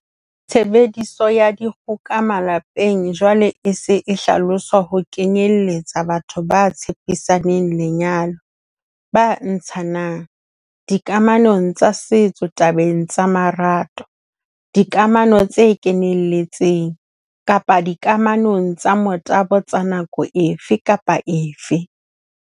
Tshebediso ya dikgoka malepeng jwale e se e hlaloswa ho kenyelletsa batho ba tshepisaneng lenyalo, ba ntshananng, dikamanong tsa setso tabeng tsa marato, dikamano tse kenelletseng, kapa dikamanong tsa motabo tsa nako efe kapa efe.